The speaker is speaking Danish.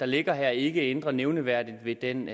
ligger her ikke ændrer nævneværdigt ved den